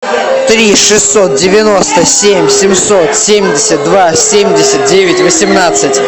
три шестьсот девяносто семь семьсот семьдесят два семьдесят девять восемнадцать